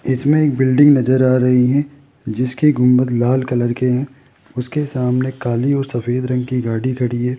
इसमें एक बिल्डिंग नज़र आ रही है जिसकी गुंबद लाल कलर के हैं उसके सामने काली और सफेद रंग की गाड़ी खड़ी है।